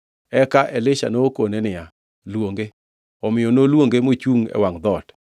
Eka Elisha nokone niya, “Luonge.” Omiyo noluonge mochungʼ e wangʼ dhoot.